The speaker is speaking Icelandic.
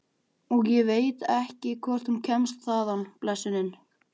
Og ég veit ekki hvort hún kemst þaðan, blessunin.